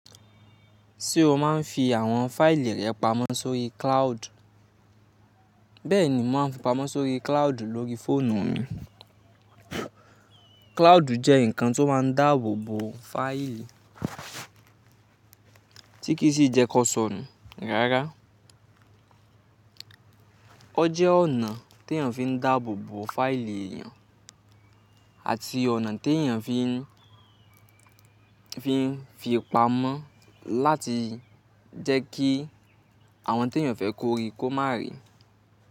Ṣé o máa ń fi àwọn fáìlì rẹ pamọ́ sórí cloud? Bẹ́ẹ̀ ni mo máa ń fi pamọ́ sórí cloud lórí fóònù mi. Cloud jẹ́ nǹkan tó máa ń dáàbò bo fáìlì. Tíkí sì jẹ́ kó sọ nù rárá. Ó jẹ́ ọ̀nà tí èèyàn fi ń dáàbò bo fáìlì èèyàn àti ọ̀nà tí èèyàn fi ń fi pamọ́ láti jẹ́ kí àwọn tí èèyàn fẹ́ kó rí kó má rí.